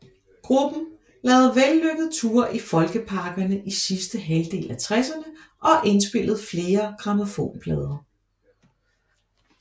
Gruppen lavede vellykkede ture i folkeparkerne i sidste halvdel af tresserne og indspillede flere grammofonplader